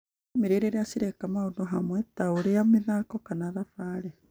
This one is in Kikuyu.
Bamĩrĩ rĩrĩa cireka maũndũ hamwe, ta ũrĩa mathako kana thabarĩ,